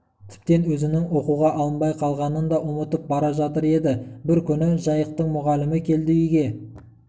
тіптен өзінің оқуға алынбай қалғанын да ұмытып бара жатыр еді бір күні жайықтың мұғалімі келді үйге